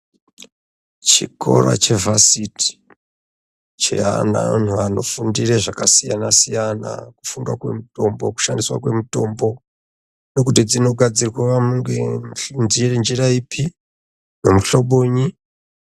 Chikora chevhasiti cheana anhu anofundira zvakasiyana siyana kufundwa kwemitombo kushandiswa kwemitombo ngekuti dzinogadzirwa ngenjira ipi ngemuhlobonyi.